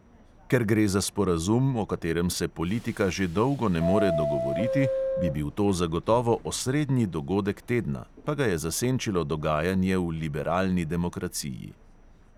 Ker gre za sporazum, o katerem se politika že dolgo ne more dogovoriti, bi bil to zagotovo osrednji dogodek tedna, pa ga je zasenčilo dogajanje v liberalni demokraciji.